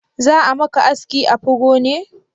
Za'a maka aski afro ne?